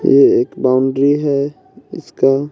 ये एक बाउंड्री है इसका--